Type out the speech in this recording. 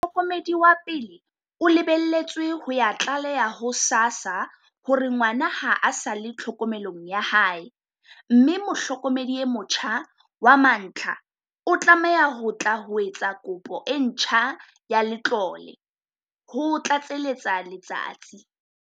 "Mohlokomedi wa pele o lebeletswe ho ya tlaleha ho SASSA hore ngwana ha a sa le tlhokomelong ya hae, mme mohlokomedi e motjha wa mantlha o tlameha ho tla ho etsa kopo e ntjha ya letlole," ho tlatseletsa Letsatsi.